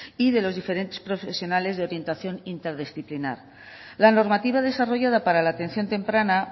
y de los diferentes profesionales de orientación interdisciplinar la normativa desarrollada para la atención temprana